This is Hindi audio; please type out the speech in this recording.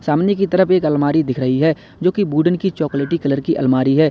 सामने की तरफ एक अलमारी दिख रही है जो की वुडन की चॉकलेटी कलर की अलमारी है।